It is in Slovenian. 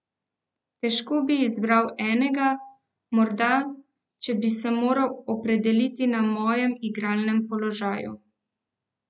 Težko bi izbral enega, morda, če bi se moral opredeliti na mojem igralnem položaju.